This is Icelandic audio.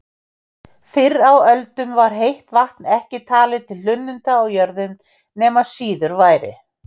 Fyrr á öldum var heitt vatn ekki talið til hlunninda á jörðum nema síður væri.